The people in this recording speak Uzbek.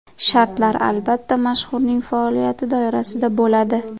Shartlar, albatta, mashhurning faoliyati doirasida bo‘ladi.